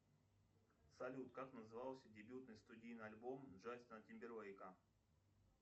салют как назывался дебютный студийный альбом джастина тимберлейка